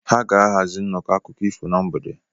Ha ga-ahazi nnọkọ akụkọ ifo na mgbede.